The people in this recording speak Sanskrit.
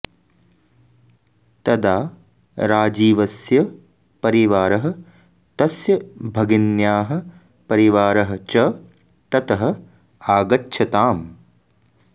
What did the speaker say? तदा राजीवस्य परिवारः तस्य भगिन्याः परिवारः च ततः आगच्छताम्